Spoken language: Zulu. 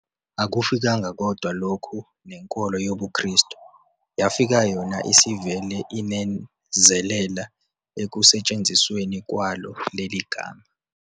Akufikanga kodwa lokho nenkolo yobuKrestu, yafika yona isivele inezelela ekusetshenzisweni kwalo leli gama.